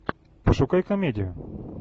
пошукай комедию